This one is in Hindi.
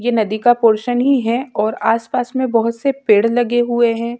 ये नदी का पोरशन ही है और आस-पास में बोहत से पेड़ लगे हुए है।